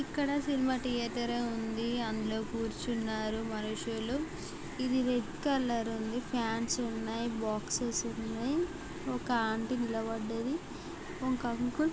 ఇక్కడ cinema theatre ఉంది. అందులో కూర్చున్నారు మనుషులు. ఇది రెడ్ కలర్ ఉంది. ఫ్యాన్స్ ఉన్నాయి .బాక్సెస్ ఉన్నాయి. ఒక ఆంటీ నిలబడ్డది ఒక అంకుల్ --